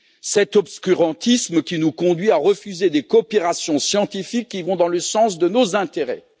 Cet obscurantisme qui nous conduit à refuser des coopérations scientifiques qui vont dans le sens de nos intérêts.